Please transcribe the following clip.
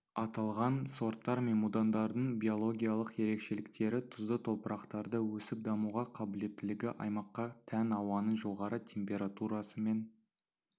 аталған сорттар мен будандардың биологиялық ерекшеліктері тұзды топырақтарда өсіп-дамуға қабілеттілігі аймаққа тән ауаның жоғары температурасы мен